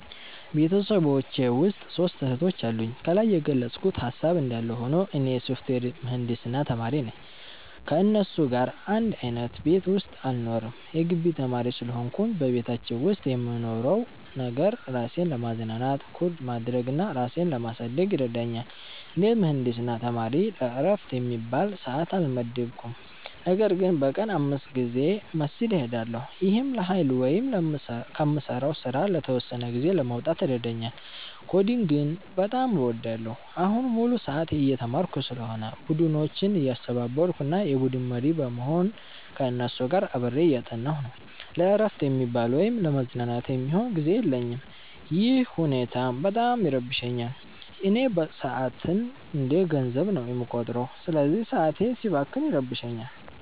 ቤተሰቤ ውስጥ ሦስት እህቶች አሉኝ። ከላይ የገለጽኩት ሃሳብ እንዳለ ሆኖ፣ እኔ የሶፍትዌር ምህንድስና ተማሪ ነኝ። ከእነሱ ጋር አንድ አይነት ቤት ውስጥ አልኖርም የጊቢ ተማሪ ስለሆንኩኝ። በቤታችን ውስጥ የምንኖረው ነገር፣ ራሴን ለማዝናናት ኮድ ማድረግ እና ራሴን ለማሳደግ ይረዳኛል። እንደ ምህንድስና ተማሪ ለዕረፍት የሚባል ሰዓት አልመደብኩም፤ ነገር ግን በቀን 5 ጊዜ መስጊድ እሄዳለሁ። ይህም ለኃይል ወይም ከምሠራው ሥራ ለተወሰነ ጊዜ ለመውጣት ይረዳኛል። ኮዲንግን በጣም እወዳለሁ። አሁን ሙሉ ሰዓት እየተማርኩ ስለሆነ፣ ቡድኖችን እያስተባበርኩ እና የቡድን መሪ በመሆን ከእነሱ ጋር አብሬ እያጠናሁ ነው። ለዕረፍት የሚባል ወይም ለመዝናናት የሚሆን ጊዜ የለኝም፤ ይህ ሁኔታም በጣም ይረብሸኛል። እኔ ሰዓትን እንደ ገንዘብ ነው የምቆጥረው፤ ስለዚህ ሰዓቴ ሲባክን ይረብሸኛል